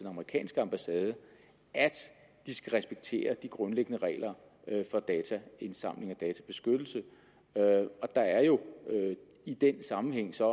amerikanske ambassade at de skal respektere de grundlæggende regler for dataindsamling og databeskyttelse og der er jo i den sammenhæng så